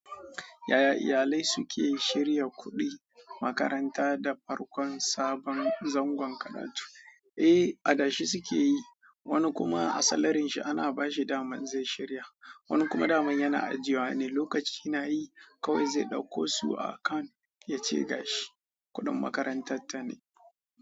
Yaya iyalai suke shirya kuɗin makaranta da farkon sabon zangon karatu? Eh, adashi suke yi, wani kuma a salarin shi ana bashi daman in zai shirya. Wani kuma daman yana ajiye wa ne, lokaci na yi kawai zai ɗauko su a akan ya ce ga shi kuɗin makarantar ta ne.